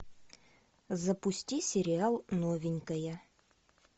запусти сериал новенькая